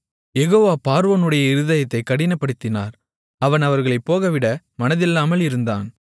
யெகோவா பார்வோனுடைய இருதயத்தைக் கடினப்படுத்தினார் அவன் அவர்களைப் போகவிட மனதில்லாமல் இருந்தான்